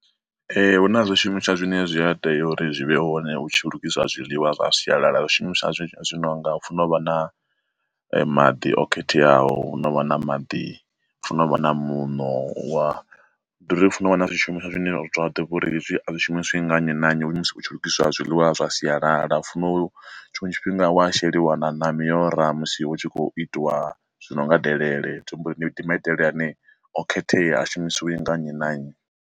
Ee hu na zwishumiswa zwine zwi a tea uri zwi vhe hone hu tshi lugiswa zwiḽiwa zwa sialala zwishumiswa zwi no nga funa u vha na maḓi o khetheaho, no vha na maḓi funa uvha na muṋo wa ndi ḓo ri funa u wana zwishumiswa zwine a ḓo vha uri hezwi zwi shumiswa nga nnyi na nnyi musi hu tshi lugiswa zwiḽiwa zwa sialala u fono tshinwe tshifhinga wa sheliwa na na miora uri musi hu tshi khou itiwa zwino nga delele tshikho uri ndi ma itele ane o khethea a shumisiwa nga nnyi na nnyi.